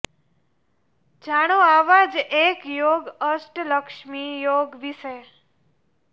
જાણો આવા જ એક યોગ અષ્ટ લક્ષ્મી યોગ વિશે